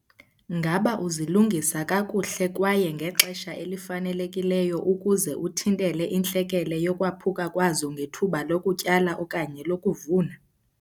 Ngaba uzilungisa kakuhle kwaye ngexesha elifanelekileyo ukuze uthintele intlekele yokwaphuka kwazo ngethuba lokutyala okanye lokuvuna?